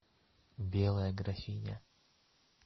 белая графиня